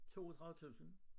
32 tusind